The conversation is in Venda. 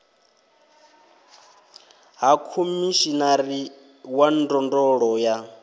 ha khomishinari wa ndondolo ya